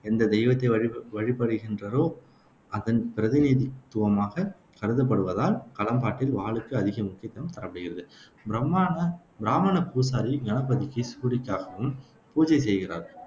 எந்தத் தெய்வத்தை வழிப வழிபடுகின்றரோ அதன் பிரதிநிதித்துவமாகக் கருதப்படுவதால், களம்பாட்டில் வாளுக்கு அதிக முக்கியத்துவம் தரப்படுகிறது. பிரமாண பிராமண பூசாரி கணபதிக்கு சூரிக்காக்கும் பூஜை செய்கிறார்.